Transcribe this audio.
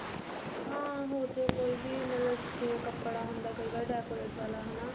ਹਾਂ ਹੋਜੇ ਕੋਈ ਵੀ ਮਤਲਬ ਜਿਵੇਂ ਕਪੜਾ ਹੁੰਦਾ ਕਈ ਵਾਰ decorate ਵਾਲਾ ਹਨਾ